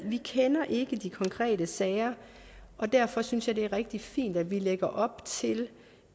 vi kender ikke de konkrete sager og derfor synes jeg at det er rigtig fint at vi lægger op til